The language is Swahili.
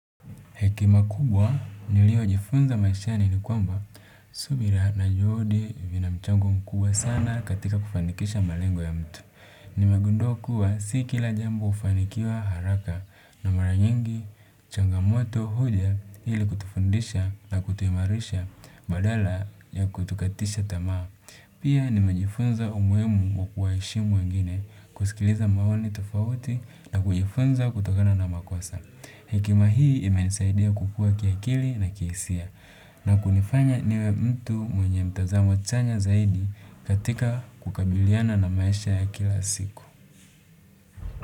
Hekima kubwa niliyojifunza maishani ni kwamba subira na juhudi vina mchango mkubwa sana katika kufanikisha malengo ya mtu. Nimegundua kuwa si kila jambo hufanikiwa haraka na mara nyingi changamoto huja ili kutufundisha na kutuimarisha badala ya kutukatisha tamaa pia nimejifunza umuhimu wa kuwaheshimu wengine, kusikiliza maoni tofauti na kujifunza kutokana na makosa hekima hii imenisaidia kukua kiakili na kihisia na kunifanya niwe mtu mwenye mtazamo chanya zaidi katika kukabiliana na maisha ya kila siku.